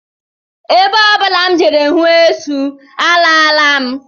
Ebe ọ bụla m jere hụ esu, alaala m